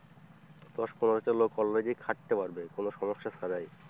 দশ পনেরো টা লোক অলরেডি খাটতে পারবে কোন সমস্যা ছাড়াই।